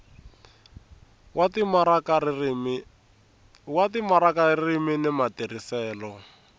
wa timaraka ririmi ni matirhiselo